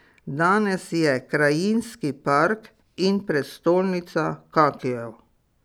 Danes je krajinski park in prestolnica kakijev.